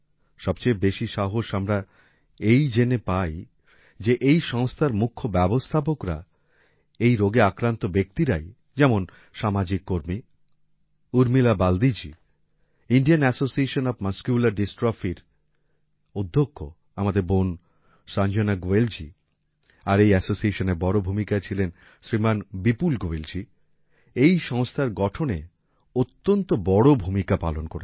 সবচেয়ে বেশি সাহস আমরা এই জেনে পাই যে এই সংস্থার মুখ্য ব্যবস্থাপকরা এই রোগে আক্রান্ত ব্যক্তিরাই যেমন সামাজিক কর্মী উর্মিলা বালদিজি ইন্ডিয়ান এসোসিয়েশন ওএফ মাসকুলার Dystrophyর অধ্যক্ষ আমাদের বোন সঞ্জনা গোয়েল জি আর এই Associationএর বড় ভূমিকায় ছিলেন শ্রীমান বিপুল গোয়েল জি এই সংস্থার গঠনে অত্যন্ত বড় ভূমিকা পালন করেছেন